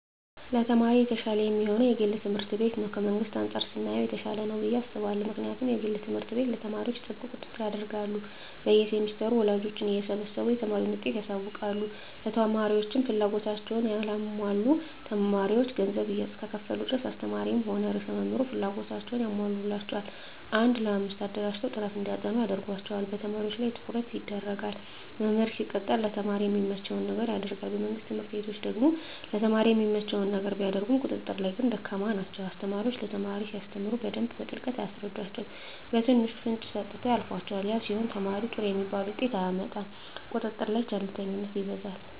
ለተማሪ የተሻለ የሚሆነዉ የግል ትምህርት ቤት ነዉ ከመንግስት አንፃር ስናየዉ የተሻለ ነዉ ብየ አስባለሁ ምክንያቱም የግል ትምህርት ቤት ለተማሪዎች ጥብቅ ቁጥጥር ያደርጋሉ በየ ሴምስተሩ ወላጆችን እየሰበሰቡ የተማሪን ዉጤት ያሳዉቃሉ ለተማሪዎችም ፍላጎታቸዉን ያሟላሉ ተማሪዎች ገንዘብ እስከከፈሉ ድረስ አስተማሪዉም ሆነ ርዕሰ መምህሩ ፍላጎታቸዉን ያሟሉላቸዋል አንድ ለአምስት አደራጅተዉ ጥናት እንዲያጠኑ ያደርጓቸዋል በተማሪዎች ላይ ትኩረት ይደረጋል መምህር ሲቀጠር ለተማሪ የሚመቸዉን ነገር ያደርጋል በመንግስት ትምህርት ቤቶች ደግሞ ለተማሪ የሚመቸዉን ነገር ቢያደርጉም ቁጥጥር ላይ ግን ደካማ ናቸዉ አስተማሪዎች ለተማሪ ሲያስተምሩ በደንብ በጥልቀት አያስረዷቸዉም በትንሹ ፍንጭ ሰጥተዉ ያልፏቸዋል ያ ሲሆን ተማሪዉ ጥሩ የሚባል ዉጤት አያመጣም ቁጥጥር ላይ ቸልተኝነት ይበዛል